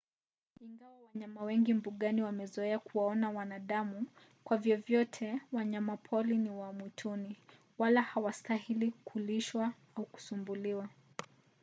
ingawa wanyama wengi mbugani wamezoea kuwaona wanadamu kwa vyovyote wanyapori ni wa mwituni wala hawastahili kulishwa au kusumbuliwa